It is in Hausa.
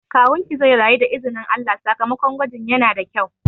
Kawunki zai rayu da izinin Allah, sakamakon gwajin yana da kyau